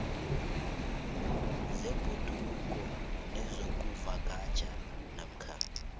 zebhoduluko nezokuvakatjha namkha